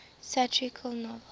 satirical novels